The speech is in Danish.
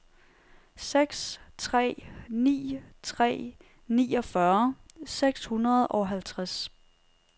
seks tre ni tre niogfyrre seks hundrede og halvtreds